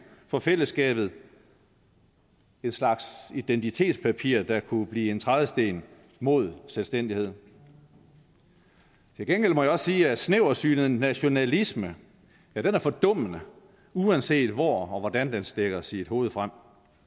for fællesskabet en slags identitetspapir der kunne blive en trædesten mod selvstændighed til gengæld må jeg også sige at snæversynet nationalisme er fordummende uanset hvor og hvordan den stikker sit hoved frem